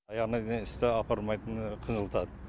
аяғына дейін істі апармайтыны қынжылтады